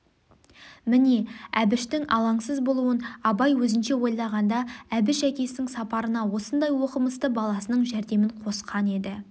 міне әбіштің алаңсыз болуын абай өзінше ойлағанда әбіш әкесінің сапарына осындай оқымысты баласының жәрдемін қосқан еді